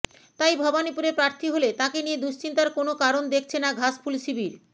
তাই ভবানীপুরে প্রার্থী হলে তাঁকে নিয়ে দুশ্চিন্তার কোনও কারণ দেখছে না ঘাসফুল শিবির